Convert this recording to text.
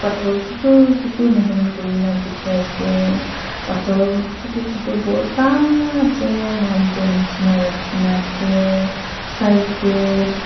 pathor chotu chotu machin kori kina dekhi ase pathor chotu chotu mota se mountent jisna rakhi kina ase side te.